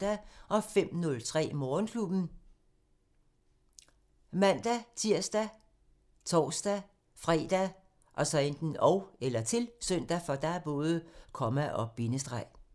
05:03: Morgenklubben ( man-tir, tor-fre, -søn)